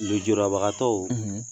Lujurabagatɔw